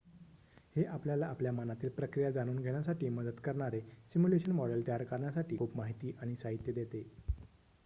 हे आपल्याला आपल्या मनातील प्रक्रिया जाणून घेण्यासाठी मदत करणारे सिम्युलेशन मॉडेल तयार करण्यासाठी खूप माहिती आणि साहित्य देते